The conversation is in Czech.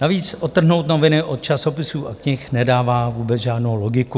Navíc odtrhnout noviny od časopisů a knih nedává vůbec žádnou logiku.